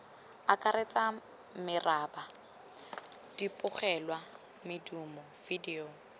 akaretsang meraba dibogelwa medumo vidio